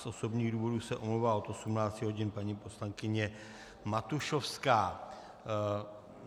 Z osobních důvodů se omlouvá od 18 hodin paní poslankyně Matušovská.